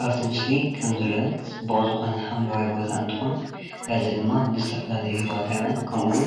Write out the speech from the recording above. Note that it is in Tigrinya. ኣብ እቲ ምስሊ ከም ዝረአ ፅቡቅ ዝኮነ ሓምለዋይ ቦታ እንትኮን እዚ ድማ ንዝተፈላለዩ ሂወታዊያን ከምኡ እውን